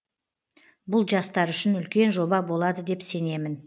бұл жастар үшін үлкен жоба болады деп сенемін